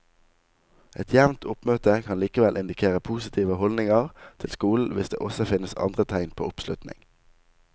Et jevnt oppmøte kan likevel indikere positive holdninger til skolen hvis det også finnes andre tegn på oppslutning.